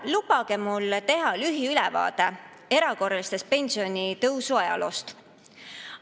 Lubage mul teha lühiülevaade erakorraliste pensionitõusude ajaloost.